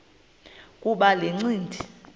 kuba le ncindi